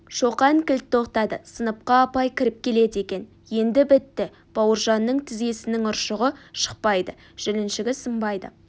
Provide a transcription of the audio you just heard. шоқан кілт тоқтады сыныпқа апай кіріп келеді екен енді бітті бауыржанның тізесінің ұршығы шықпайды жіліншігі сынбайды